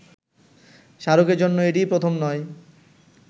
শাহরুখের জন্য এটিই প্রথম নয়